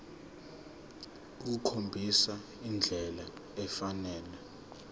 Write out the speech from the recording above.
ukukhombisa indlela efanele